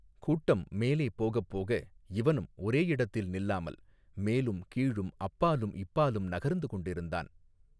கூட்டம் மேலே போகப் போக இவனும் ஒரே இடத்தில் நில்லாமல் மேலும் கீழும் அப்பாலும் இப்பாலும் நகர்ந்து கொண்டிருந்தான்.